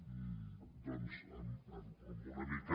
i doncs amb una mica